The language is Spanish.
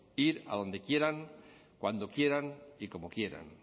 ir a donde quieran cuando quieran y como quieran